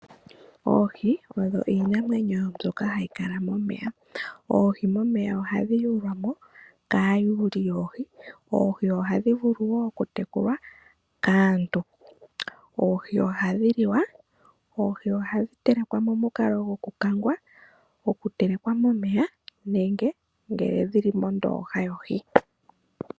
Oohi odho iinamwenyo mbyoka hayi kala momeya. Oohi momeya ohadhi yuulwa mo kaayuuli yoohi. Oohi ohadhi vulu wo ku tekulwa kaantu, oohi ohadhi li wa, ohadhi telekwa momukalo goku telekwa momeya, nenge goku kangwa nenge ngele dhili mondooha yohi.